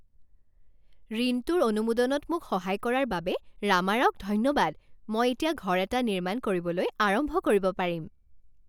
ঋণটোৰ অনুমোদনত মোক সহায় কৰাৰ বাবে ৰামাৰাওক ধন্যবাদ। মই এতিয়া ঘৰ এটা নিৰ্মাণ কৰিবলৈ আৰম্ভ কৰিব পাৰিম।